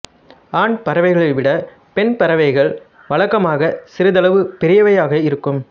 ஆண் பறவைகளை விட பெண் பறவைகள் வழக்கமாக சிறிதளவு பெரியவையாக இருக்கும்